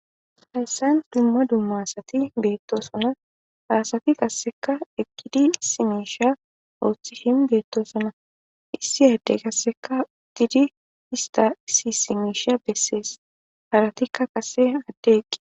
Hayssan dumma dumma asati beettosona. Ha asati qasseka eqqidi issi miisha ooththishin beettosona. Issi addey qasseka tidi ista issi miisha bessees. Haratikka qasse adde eqqi.